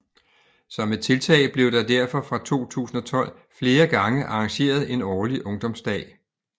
Som et tiltag blev der derfor fra 2012 flere gange arrangeret en årlig ungdomsdag